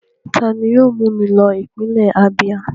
Ta ni yóò mú mi lọ ipinle Abíà?